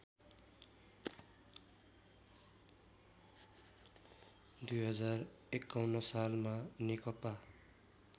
२०५१ सालमा नेकपा